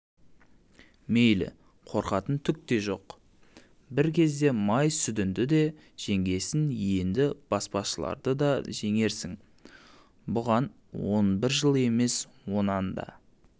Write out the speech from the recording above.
мейлі қорқатын түк те жоқ бір кезде май сүдінді де жеңгенсің енді баспашыларды да жеңерсің бұған он бір жыл емес онан да